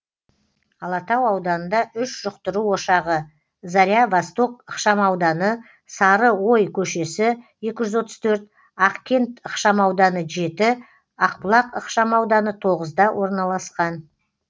алатау ауданында үш жұқтыру ошағы заря восток ықшамауданы сары ой көшесі екі жүз отыз төрт ақкент ықшамауданы жеті ақбұлақ ықшамауданы тоғызда орналасқан